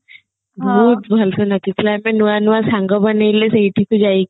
ବହୁତ ଭଲସେ ନାଚିଥିଲେ ଆମେ ନୂଆ ନୂଆ ସାଙ୍ଗ ବନେଇଲେ ସେଇଠିକୁ ଯାଇକି